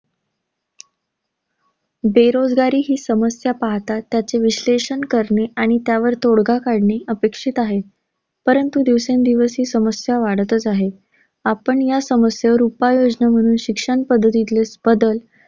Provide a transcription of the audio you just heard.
बेरोजगारी ही समस्या पाहता, त्याचे विश्लेषण करणे आणि त्यावर तोडगा काढणे अपेक्षित आहे. परंतु दिवसेंदिवस ही समस्या वाढतच आहे. आपण या समस्येवर उपाययोजना म्हणून शिक्षण पद्धतीतले बदल